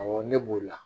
Awɔ ne b'o la